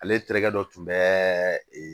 Ale terikɛ dɔ tun bɛ